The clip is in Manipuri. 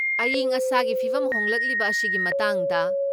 ꯑꯌꯤꯡ ꯑꯁꯥꯒꯤ ꯐꯤꯕꯝ ꯍꯣꯡꯂꯛꯂꯤꯕ ꯑꯁꯤꯒꯤ ꯃꯇꯥꯡꯗ